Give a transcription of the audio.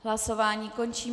Hlasování končím.